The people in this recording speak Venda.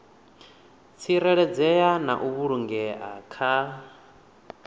tsireledzea na u vhulungea kha